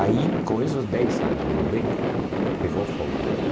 Aí, com esses dez anos no Beco, pegou fogo o Beco.